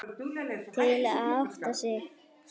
Til að átta sig.